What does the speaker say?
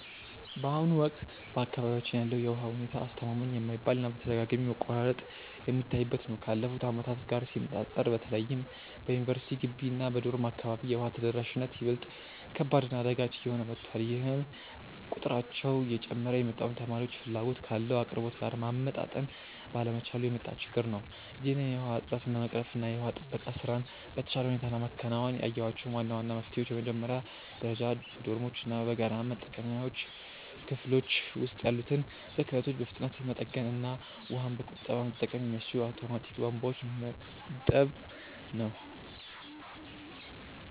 በአሁኑ ወቅት በአካባቢያችን ያለው የውሃ ሁኔታ አስተማማኝ የማይባል እና በተደጋጋሚ መቆራረጥ የሚታይበት ነው። ካለፉት ዓመታት ጋር ሲነፃፀር በተለይም በዩኒቨርሲቲ ግቢ እና በዶርም አካባቢ የውሃ ተደራሽነት ይበልጥ ከባድ እና አዳጋች እየሆነ መጥቷል፤ ይህም ቁጥራቸው እየጨመረ የመጣውን ተማሪዎች ፍላጎት ካለው አቅርቦት ጋር ማመጣጠን ባለመቻሉ የመጣ ችግር ነው። ይህንን የውሃ እጥረት ለመቅረፍ እና የውሃ ጥበቃ ስራን በተሻለ ሁኔታ ለማከናወን ያየኋቸው ዋና ዋና መፍትሄዎች በመጀመሪያ ደረጃ በዶርሞች እና በጋራ መጠቀሚያ ክፍሎች ውስጥ ያሉትን ብክነቶች በፍጥነት መጠገን እና ውሃን በቁጠባ መጠቀም የሚያስችሉ አውቶማቲክ ቧንቧዎችን መግጠም ነው።